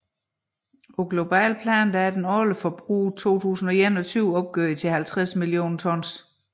På globalt plan var det årlige forbrug i 2021 opgjort til 50 millioner tons